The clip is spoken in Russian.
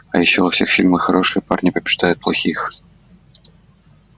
а ещё во всех фильмах хорошие парни побеждают плохих